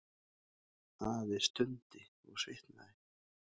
Afi stundi og svitnaði.